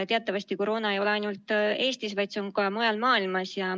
Teatavasti koroona ei ole ainult Eestis, vaid see on ka mujal maailmas.